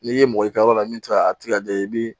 N'i ye mɔgɔ i ka yɔrɔ la min tɛ a tigɛ i bɛ